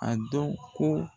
A dɔ ko